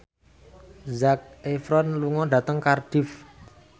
Zac Efron lunga dhateng Cardiff